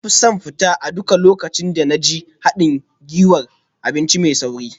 Na fi son fita a duk lokacin da na je haɗin gwiwar abinci mai sauri